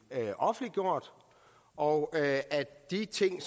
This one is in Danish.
offentliggjort og at de ting